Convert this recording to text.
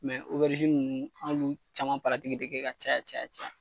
nunnu an b'u caman de kɛ ka caya caya